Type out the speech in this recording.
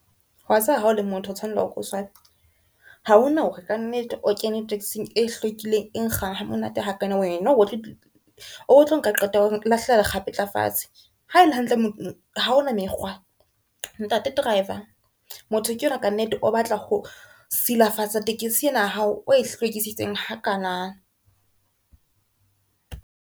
Wa tseba hao le motho o tshwanetse o ko swabe, ha hona hore kannete o kene taxi-ng e hlwekileng e nkga ha monate ha kana, wena o bo tlo nka qeto ya o lahlela lekgapetla fatshe ha ele hantle ha ona mekgwa. Ntate driver motho ke yona kannete, o batla ho silafatsa tekesi ena ya hao o e hlwekisitseng ha kana.